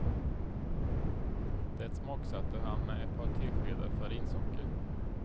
Det smaksatte han med ett par teskedar farinsocker.